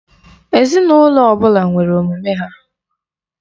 Ezinụlọ ọbụla nwere omume ha.